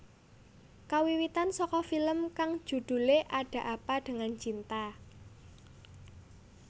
Kawiwitan saka film kang judhulé Ada Apa dengan Cinta